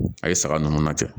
A ye saga ninnu na ten